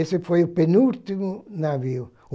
Esse foi o penúltimo navio.